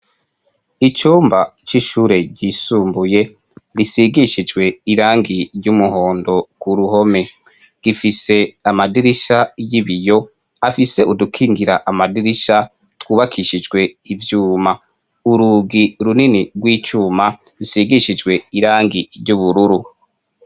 Icumba c'ishure ryisumbuye risigishijwe irangi ry'umuhondo ku ruhome, gifise amadirisha y'ibiyo afise udukingira amadirisha twubakishijwe ivyuma, urugi runini rw'icuma risigishijwe irangi ry'ubururu.